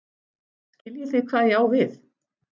Skiljið þið hvað ég á við?